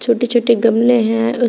छोटे छोटे गमले हैं उस--